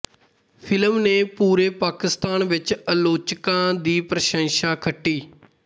film ਨੇ ਪੂਰੇ ਪਾਕਿਸਤਾਨ ਵਿੱਚ ਆਲੋਚਕਾਂ ਦੀ ਪ੍ਰਸ਼ੰਸਾ ਖੱਟੀ